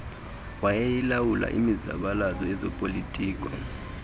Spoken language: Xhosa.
wayeyilawula imizabalazo yezopolitiko